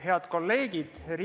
Head kolleegid!